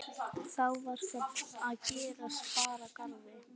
Þá var það að gest bar að garði.